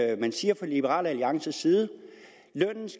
er det man siger fra liberal alliances side